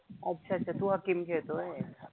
अच्छा अच्छा तु हकीम खेळतोय?